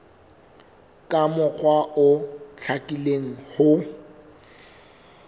ka mokgwa o hlakileng ho